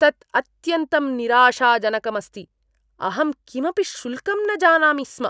तत् अत्यन्तं निराशाजनकम् अस्ति। अहं किमपि शुल्कं न जानामि स्म।